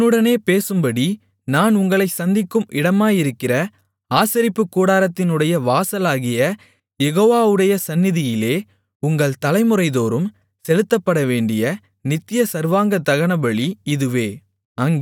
உன்னுடனே பேசும்படி நான் உங்களைச் சந்திக்கும் இடமாயிருக்கிற ஆசரிப்புக்கூடாரத்தினுடைய வாசலாகிய யெகோவாவுடைய சந்நிதியிலே உங்கள் தலைமுறைதோறும் செலுத்தப்படவேண்டிய நித்திய சர்வாங்க தகனபலி இதுவே